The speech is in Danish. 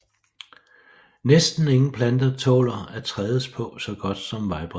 Næsten ingen plante tåler at trædes på så godt som vejbred